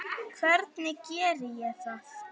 Hvernig geri ég það?